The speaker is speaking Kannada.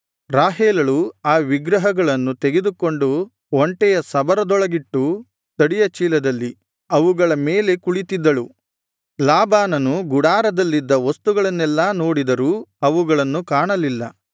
ರಾಹೇಲಳು ಆ ವಿಗ್ರಹಗಳನ್ನು ತೆಗೆದುಕೊಂಡು ಒಂಟೆಯ ಸಬರದೊಳಗಿಟ್ಟು ತಡಿಯ ಚೀಲದಲ್ಲಿ ಅವುಗಳ ಮೇಲೆ ಕುಳಿತ್ತಿದ್ದಳು ಲಾಬಾನನು ಗುಡಾರದಲ್ಲಿದ್ದ ವಸ್ತುಗಳನ್ನೆಲ್ಲಾ ನೋಡಿದರೂ ಅವುಗಳನ್ನು ಕಾಣಲಿಲ್ಲ